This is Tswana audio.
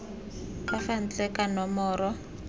ka fa ntle ka nomoro